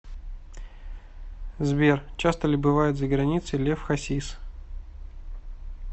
сбер часто ли бывает за границей лев хасис